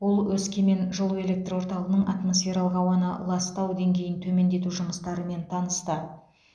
ол өскемен жылу электр орталығының атмосфералық ауаны ластау деңгейін төмендету жұмыстарымен танысты